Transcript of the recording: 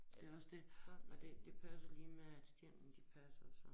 Det også dét men det det passer lige med at stenene de passer og sådan